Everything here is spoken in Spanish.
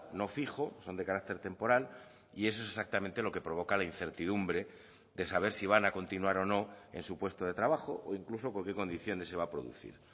no fijo son de carácter temporal y eso es exactamente lo que provoca la incertidumbre de saber si van a continuar o no en su puesto de trabajo o incluso con qué condiciones se va a producir